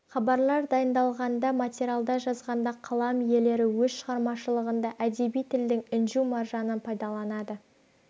хабарлар дайындалғанда материалдар жазғанда қалам иелері өз шығармашылығында әдеби тілдің інжу-маржанын пайдаланады